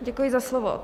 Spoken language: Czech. Děkuji za slovo.